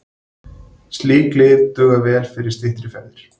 Slík lyf duga vel fyrir styttri ferðir.